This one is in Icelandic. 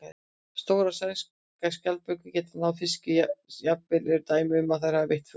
Stórar sæskjaldbökur geta náð fiski og jafnvel eru dæmi um að þær hafi veitt fugla.